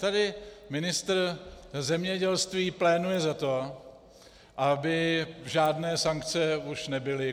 Tady ministr zemědělství pléduje za to, aby žádné sankce už nebyly.